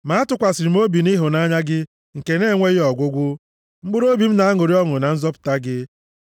Ma atụkwasịrị m obi nʼịhụnanya gị nke na-enweghị ọgwụgwụ; mkpụrụobi m na-aṅụrị ọṅụ na nzọpụta gị.